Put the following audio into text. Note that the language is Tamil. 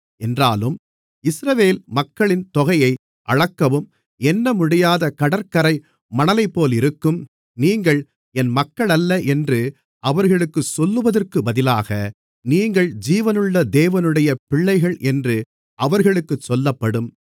என்றாலும் இஸ்ரவேல் மக்களின் தொகையை அளக்கவும் எண்ணமுடியாத கடற்கரை மணலைப்போலிருக்கும் நீங்கள் என் மக்களல்ல என்று அவர்களுக்குச் சொல்லுவதற்குப் பதிலாக நீங்கள் ஜீவனுள்ள தேவனுடைய பிள்ளைகள் என்று அவர்களுக்குச் சொல்லப்படும்